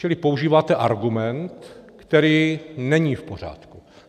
Čili používáte argument, který není v pořádku.